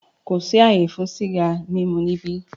Kò sí àyè fún sìgá mímu níbí!